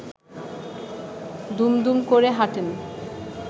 দুমদুম করে হাঁটেন